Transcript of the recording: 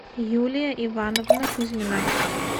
юлия ивановна кузьмина